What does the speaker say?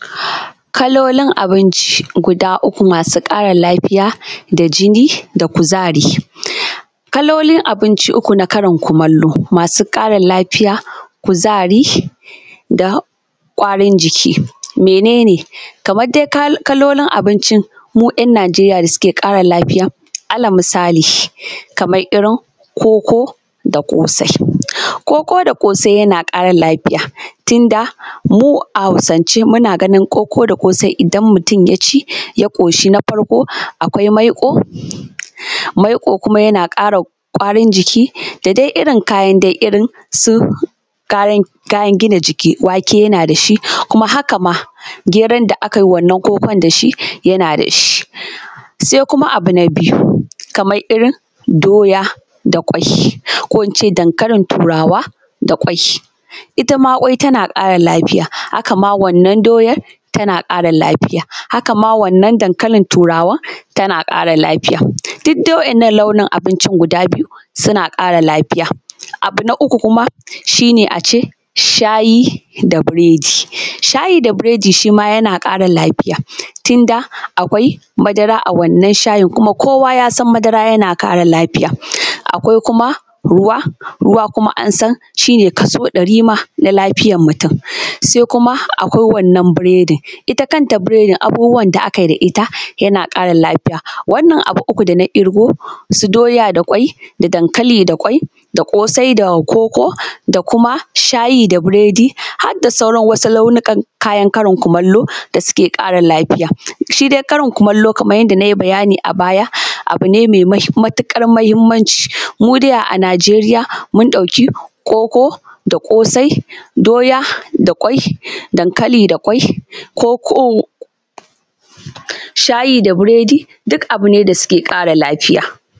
Kalolin abinci guda uku masu ƙara lafiya da jini da kuzari. Kalolin abinci uku na Karin kumallo, masu ƙara lafiya, kuzari da ƙwarin jiki. Menene? Kamar dai kalolin abinci mu ‘yan Nijeriya da suke ƙara lafiya, alal misali, kamar irin koko da ƙosai, koko da ƙosai yana ƙara lafiya, tunda mu a hausance muna ganin koko da ƙosai idan mutum ya ci ya ƙoshi, na farko akwai maiƙo, maiƙo kuma yana ƙara ƙwarin jiki da dai irin kayan dai irin su kayan gina jiki, wake yana da shi kuma haka ma geron da akayi wannan kokon dashi yana da shi. Sai kuma abu na biyu, kamar irin doya da ƙwai ko ince dankalin turawa da ƙwai, itama ƙwai tana ƙara lafiya, haka ma wannan doyar tana ƙara lafiya, haka ma wannan dankalin turawan tana ƙara lafiya, duk dai waɗannan launin abincin guda biyu suna ƙara lafiya. Abu na uku kuma shine ace shayi da biredi, shayi da biredi shima yana ƙara lafiya, tun da akwai madara a wannan shayin, kuma kowa yasan madara tana ƙara lafiya, akwai kuma ruwa, ruwa kuma an san shine kaso ɗari ma na lafiyar mutum, sai kuma akwai wannan biredin, ita kanta biredin abubuwan da akayi da ita yana ƙara lafiya, wannan abu uku dana ƙirgo, su doya da ƙwai da dankali da ƙwai da ƙosai da koko, da kuma shayi da biredi harda sauran wasu launukan kayan Karin kumallo da suke ƙara lafiya. Shi dai karin kumallo Kaman yanda nayi bayani a baya, abu ne mai matuƙar muhimmanci, mu dai a Nijeriya mun ɗauki koko da ƙosai, doya da ƙwai, dankali da ƙwai koko shayi da buredi duk abu ne da suke kara lafiya,